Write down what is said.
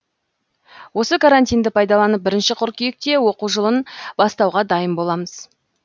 осы карантинді пайдаланып бірінші қыркүйекте оқу жылын бастауға дайын боламыз